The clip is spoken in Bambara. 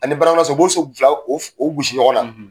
Ani baramaso. U b'o so filaw o f o gosi ɲɔgɔn na.